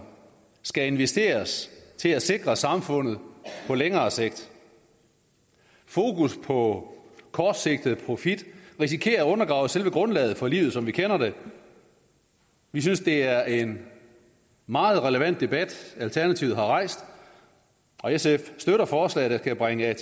skal investeres til at sikre samfundet på længere sigt fokus på kortsigtet profit risikerer at undergrave selve grundlaget for livet som vi kender det vi synes det er en meget relevant debat alternativet har rejst og sf støtter forslaget der kan bringe